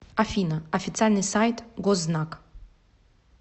афина официальный сайт гознак